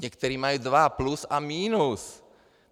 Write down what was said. Někteří mají dva, plus a minus.